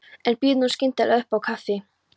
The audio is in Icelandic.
En býður nú skyndilega upp á kaffi!